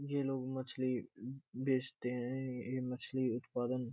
ये लोग मछली बेचते हैं। ये मछली उत्पादन --